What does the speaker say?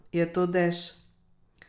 Je to dež?